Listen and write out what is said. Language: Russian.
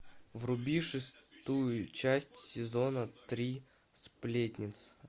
вруби шестую часть сезона три сплетница